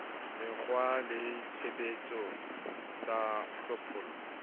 mekgwa le tshebetso tsa hlophollo